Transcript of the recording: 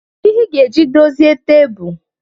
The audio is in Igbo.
Kedu ihe ị ga-eji dozie tebụl?